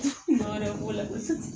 wɛrɛ b'o la